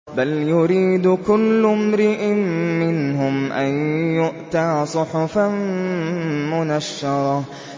بَلْ يُرِيدُ كُلُّ امْرِئٍ مِّنْهُمْ أَن يُؤْتَىٰ صُحُفًا مُّنَشَّرَةً